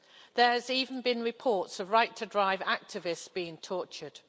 There have even been reports of right-to-drive activists being tortured.